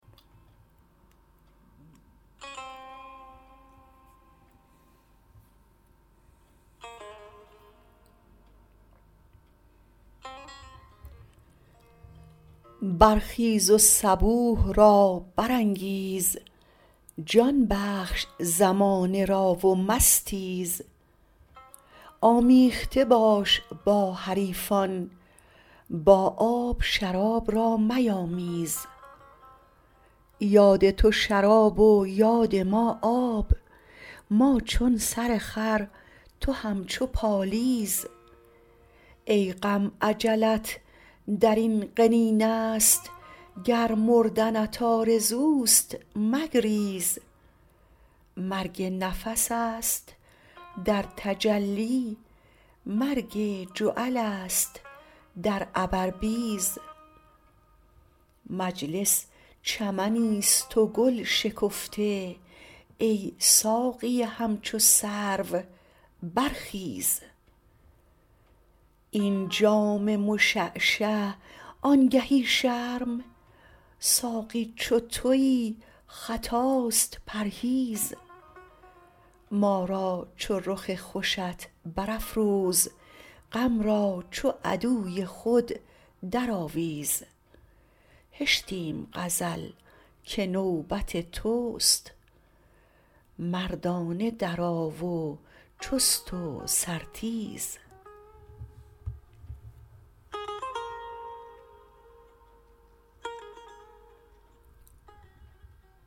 برخیز و صبوح را برانگیز جان بخش زمانه را و مستیز آمیخته باش با حریفان با آب شراب را میامیز یاد تو شراب و یاد ما آب ما چون سرخر تو همچو پالیز ای غم اجلت در این قنینه ست گر مردنت آرزوست مگریز مرگ نفس است در تجلی مرگ جعلست در عبربیز مجلس چمنیست و گل شکفته ای ساقی همچو سرو برخیز این جام مشعشع آنگهی شرم ساقی چو توی خطاست پرهیز ما را چو رخ خوشت برافروز غم را چو عدوی خود درآویز هشتیم غزل که نوبت توست مردانه درآ و چست و سرتیز